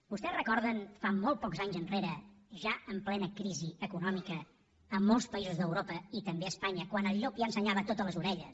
vostès recorden fa molts pocs anys enrere ja en plena crisi econòmica en molts països d’europa i també a espanya quan el llop ja ensenyava totes les orelles